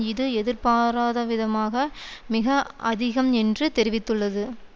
இது எதிர்பாராதவிதமாக மிக அதிகம் என்றும் தெரிவித்துள்ளது